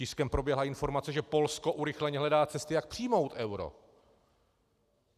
Tiskem proběhla informace, že Polsko urychleně hledá cesty, jak přijmout euro.